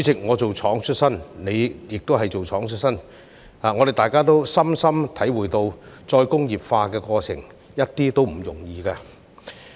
我"做廠"出身，主席亦是"做廠"出身，我們也深深體會到再工業化的過程一點也不容易。